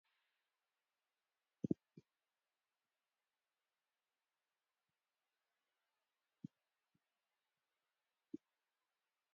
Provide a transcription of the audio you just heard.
ካብ ናይ ትግራይ ዝርከብ ዓብዩ ገዳም እንትከውን ኣብ ሳምረ ዝርከብ እንዳ ቅዱስ ጨርቆስ ኮይኑ ናይዚ ዓመታዊ በዓል ከዓ ጥሪ ዓሰርተ ሓሙስተ እዩ።